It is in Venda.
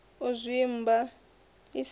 u zwimba i si ya